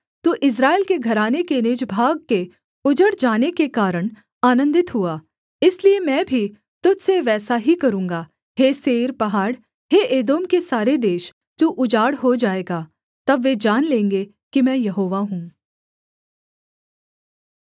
तू इस्राएल के घराने के निज भाग के उजड़ जाने के कारण आनन्दित हुआ इसलिए मैं भी तुझ से वैसा ही करूँगा हे सेईर पहाड़ हे एदोम के सारे देश तू उजाड़ हो जाएगा तब वे जान लेंगे कि मैं यहोवा हूँ